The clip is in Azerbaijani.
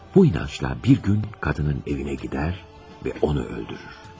Bu inancda bir gün qadının evinə gedər və onu öldürür.